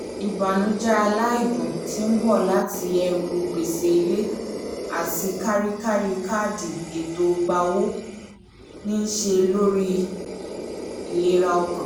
ìbànújẹ aláìdún tí ń bọ̀ láti ẹ̀rù gbèsè ilé àti kárí-kárí kaadi ẹ̀tọ́ gba owó ń ṣe lórí ìlera ọkàn